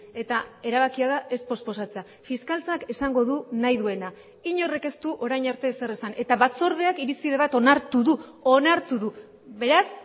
eta erabakia da ez posposatzea fiskaltzak esango du nahi duena inork ez du orain arte ezer esan eta batzordeak irizpide bat onartu du onartu du beraz